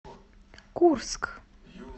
курск